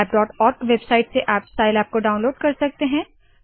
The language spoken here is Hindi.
scilabओआरजी वेबसाइट से आप साइलैब को डाउनलोड कर सकते है